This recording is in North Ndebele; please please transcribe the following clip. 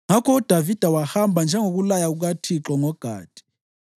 Ngakho uDavida wahamba njengokulaya kukaThixo ngoGadi.